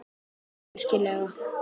Já, virkilega.